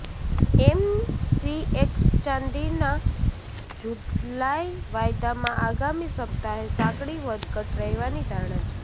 MCX ચાંદીના જુલાઈ વાયદામાં આગામી સપ્તાહે સાંકડી વધઘટ રહેવાની ધારણા છે